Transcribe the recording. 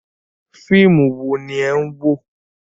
Fíìmù wo ni ẹ̀ ń wò?